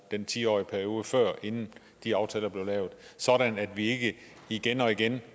den ti årige periode inden de aftaler blev lavet sådan at vi ikke igen og igen